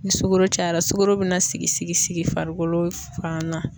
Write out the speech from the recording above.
Ni sugoro cayara sugoro bina sigi sigi sigi farikolo fan na